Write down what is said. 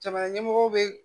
Jamana ɲɛmɔgɔw bɛ